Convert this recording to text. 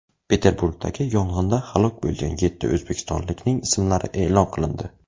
Peterburgdagi yong‘inda halok bo‘lgan yetti o‘zbekistonlikning ismlari e’lon qilindi .